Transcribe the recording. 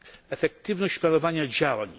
Efektywność planowania działań.